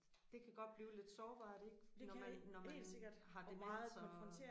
Det kan godt godt blive lidt sårbart ik når man når man har demens og